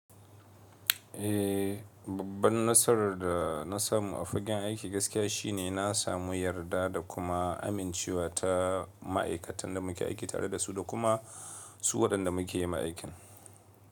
Eh, babban nasarar da na samu a fagen aiki gaskiya shine na samu yarda da kuma amincewa ta ma'aikatan da muke aiki tare da su da kuma su waɗanda muke yi ma aikin.